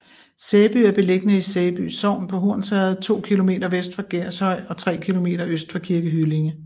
Sæby er beliggende i Sæby Sogn på Hornsherred to kilometer vest for Gershøj og tre kilometer øst for Kirke Hyllinge